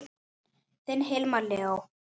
Þinn Hilmar Leó.